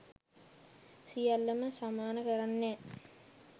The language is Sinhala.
සියල්ලම සමාන කරන්නේ නෑ